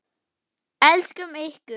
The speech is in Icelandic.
Elskum ykkur.